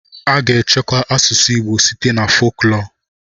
A ga-echekwa asụsụ Igbo site na foklọọ.